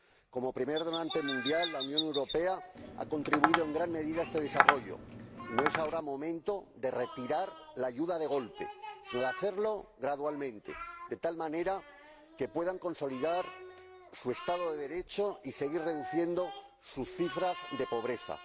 Como primer donante mundial, la Unión Europea ha contribuido en gran medida a este desarrollo y no es ahora el momento de retirar la ayuda de golpe, sino de hacerlo gradualmente, de tal manera que estos países puedan consolidar su Estado de Derecho y seguir reduciendo las cifras relativas a la pobreza.